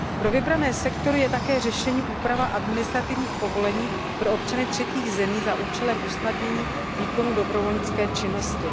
Pro vybrané sektory je také řešením úprava administrativních povolení pro občany třetích zemí za účelem usnadnění výkonu dobrovolnické činnosti.